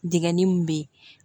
Digɛnin min bɛ ye